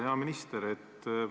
Hea minister!